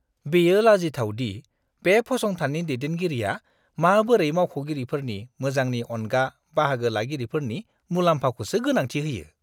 बेयो लाजिथाव दि बे फसंथाननि दैदेनगिरिया माबोरै मावख'गिरिफोरनि मोजांनि अनगा बाहागो-लागिरिफोरनि मुलाम्फाखौसो गोनांथि होयो।